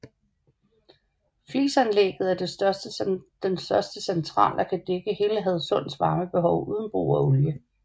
Flisanlægget er den største central og kan dække hele Hadsunds varmebehov uden brug af olie